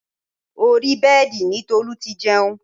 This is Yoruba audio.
Orí bẹ́ẹ̀dì ni Tolu ti jẹun